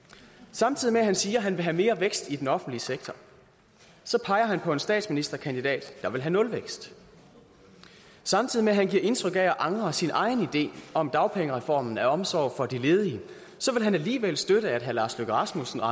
samtidig med at han siger at han vil have mere vækst i den offentlige sektor så peger han på en statsministerkandidat der vil have nulvækst samtidig med at han giver indtryk af at angre sin egen idé om dagpengereformen af omsorg for de ledige vil han alligevel støtte at herre lars løkke rasmussen og